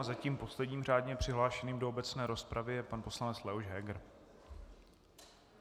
A zatím posledním řádně přihlášeným do obecné rozpravy je pan poslanec Leoš Heger.